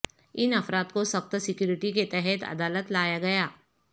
ان افراد کو سخت سیکیورٹی کے تحت عدالت لایا گیا